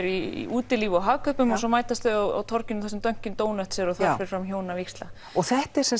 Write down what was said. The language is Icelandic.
í útilíf og Hagkaupum svo mætast þau á torginu þar sem Dunkin donuts er og þar fer fram hjónavígsla þetta er